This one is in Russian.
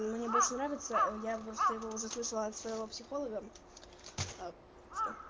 мне больше нравится я просто его уже слышала от своего психолога а что